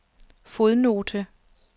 fodnote